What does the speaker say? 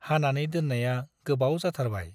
हानानै दोन्नाया गोबाव जाथारबाय ।